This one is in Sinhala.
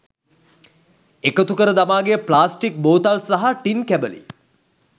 එකතුකර දමා ගිය ප්ලාස්ටික් බෝතල් සහ ටින් කැබලි